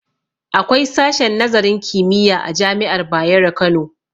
Akwai sashen nazarin kimiyya a jami'ar bayero Kano